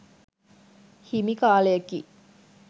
හිමි කාලයකි.